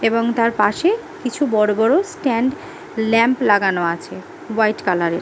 এবং তার পাশে কিছু বড়ো বড়ো স্ট্যান্ড ল্যাম্প লাগানো আছে হোয়াইট কালার -এর ।